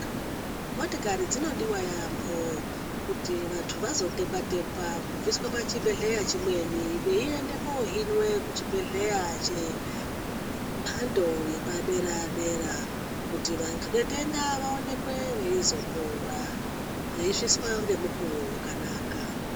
Motokari dzinodiwa yambo kuti vantu vazotekwa tekwaa kubviswa pachibhedhlera chimweni Veienda kohinwa kuchibhedhlera chemhando yepadera dera kuti vatenda vaonekwe veizopora veisvitswa nemukuwo wakanaka.